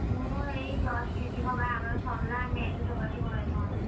ମୁଁ ଏଇ just ଦିଦି ଙ୍କ ବାହାଘର ସରିଲା ଆମେ ଏବେ ସବୁ ଆସି ଘରେ ପହଞ୍ଚିଲୁ।